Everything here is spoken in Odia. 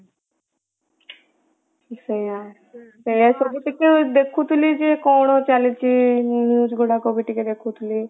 ସେଇଆ ସେଇଆ ଉପରେ ଟିକେ ଦେଖୁଥିଲି ଯେ କଣ ଚାଲିଛି ଉଁ news ଗୁଡାକ ବି ଟିକେ ଦେଖୁଥିଲି ।